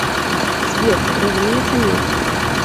сбер разумеется нет